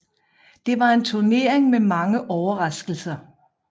Det var en turnering med mange overraskelser